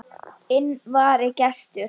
Inn vari gestur